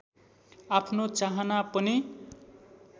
आफ्नो चाहना पनि